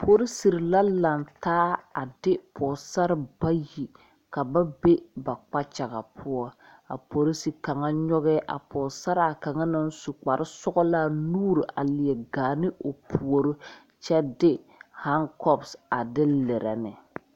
Polisiri la laŋ taa a de pogesare bayi ka ba be ba kpakyaga poɔ a polisi kaŋa nyɔgɛ a pɔgesaraa kaŋa naŋ su kparesɔglaa nuuri a leɛ gaa ne o puori kyɛ de hankɔba a de lerɛ ne.